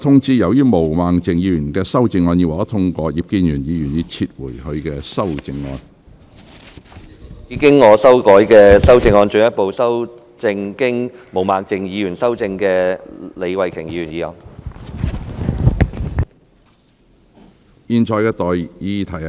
主席，我動議我經修改的修正案，進一步修正經毛孟靜議員修正的李慧琼議員議案。